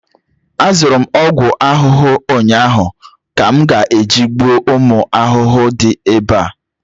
azụrụ m ogwu ahụhụ ụnyahụ ka m ga-eji gbuo ụmụ ahụhụ di ebe a